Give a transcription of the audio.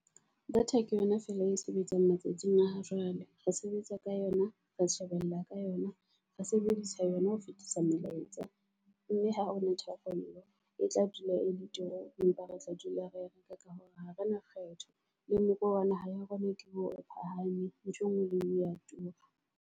Data ke yona fela e sebetsang matsatsing a ha jwale, re sebetsa ka yona, re shebella ka yona, re sebedisa yona ho fetisa melaetsa. Mme ha ho na tharollo e tla dula e le turu, empa re tla dula re reka ka hore ha re na kgetho. Le moruo wa naha ya rona ke hore phahame, ntho engwe le engwe ya tura.